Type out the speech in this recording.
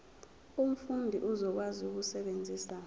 umfundi uzokwazi ukusebenzisa